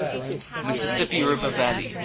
mississippi river valley